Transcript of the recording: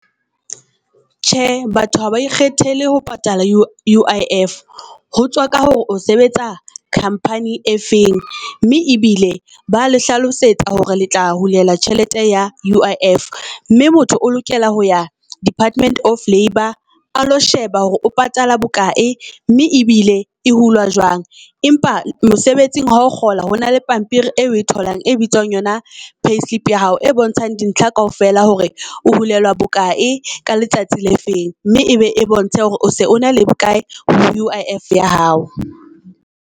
Tjhe, batho ha ba ikgethele ho patala U_I_F, ho tswa ka hore o sebetsa company-eng e feng mme ebile ba le hlalosetsa hore le tla hula tjhelete ya U_I_F. Mme motho o lokela ho ya Department of Labour, a lo sheba hore o patala bokae mme ebile e hulwa jwang. Empa mosebetsing ha o kgola hona le pampiri eo e tholang, e bitswang yona payslip ya hao e bontshang di ntlha kaofela hore o hulelwa bokae ka letsatsi le feng. Mme e be e bontshe hore o se o na le bokae ho U_I_F ya hao.